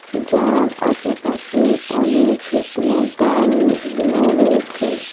যার আশেপাশে অনেক শুকনো ডাল-ল রয়েছে।